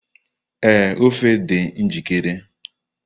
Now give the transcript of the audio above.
Ee, ofe dị njikere